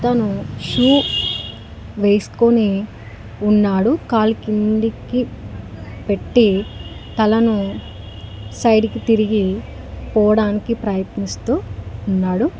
అతను షూ వేసుకొని ఉన్నాడు కాలు కిందికి పెట్టి తలను సైడ్ కి తిరిగి పోడానికి ప్రయత్నిస్తూ ఉన్నాడు.